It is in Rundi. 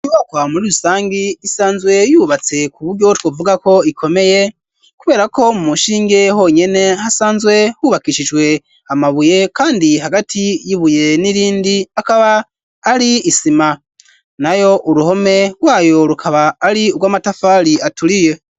Ibokwa muri rusangi isanzwe yubatse ku buryo twovuga ko ikomeye kubera ko mu mushinge honyene hasanzwe hubakishijwe amabuye kandi hagati yibuye n'irindi akaba ari isima nayo uruhome rwayo rukaba ari urw'amatafari aturiye.